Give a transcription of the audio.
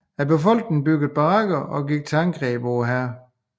Befolkningen byggede barrikader og gik til angreb på hæren